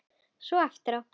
Svona eftir á.